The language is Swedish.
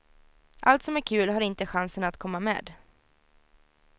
Allt som är kul har inte chansen att komma med.